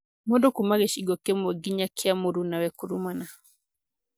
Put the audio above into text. Mũndũ kuuma gĩcingo kĩmwe gĩnya kĩa murunawe kurumana